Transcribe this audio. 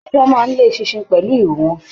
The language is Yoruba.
Ajá máa n le eṣinṣin pẹlú ìrù wọn.